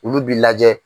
Olu b'i lajɛ